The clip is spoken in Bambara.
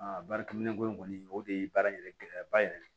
baarakɛminɛnko in kɔni o de ye baara in yɛrɛ gɛlɛya ba yɛrɛ de ye